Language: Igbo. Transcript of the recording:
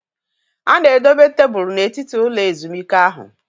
A na-edobe tebụl n'etiti ụlọ ezumike ahụ